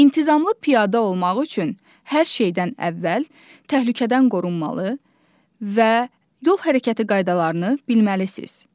İntizamlı piyada olmaq üçün hər şeydən əvvəl təhlükədən qorunmalı və yol hərəkəti qaydalarını bilməlisiz.